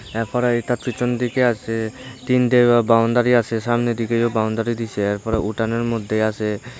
এরপরে এইটা পিছন দিকে আসে তিনটে বাউন্ডারি আসে সামনের দিকেও বাউন্ডারি দিসে এরপরে উঠানের মধ্যে আসে।